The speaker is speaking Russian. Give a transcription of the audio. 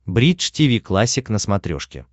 бридж тиви классик на смотрешке